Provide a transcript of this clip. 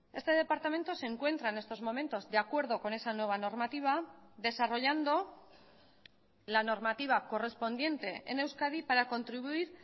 este departamento se encuentra en estos momentos de acuerdo con esa nueva normativa desarrollando la normativa correspondiente en euskadi para contribuir